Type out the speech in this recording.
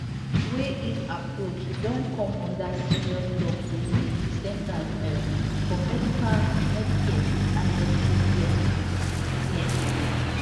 wey im approach don come under serious tok to lead di centers um for medicare and medicaid services cms